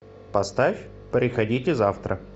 поставь приходите завтра